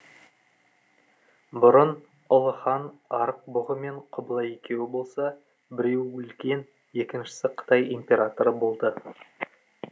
бұрын ұлы хан арық бұғы мен құбылай екеуі болса біреуі өлген екіншісі қытай императоры болды